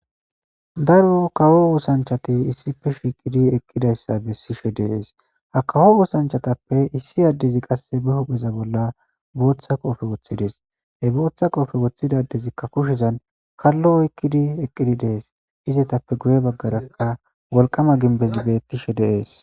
daro kawo oosanchati issife shiiqidi eqqidayssa bessishe deees ha kawo oosanchatappe issi addezi qasse be hupheza bolla booththa qoofe woththidees he booththa qoofe woththidadezikka kushezan kallo oykkidi eqqidi dees izetappe guye baggarakka wolqama ginbezi bettishe deees